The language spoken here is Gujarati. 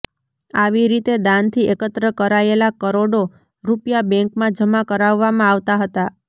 આવી રીતે દાનથી એકત્ર કરાયેલા કરોડો રૂપિયા બેન્કમાં જમા કરાવવામાં આવતા હતા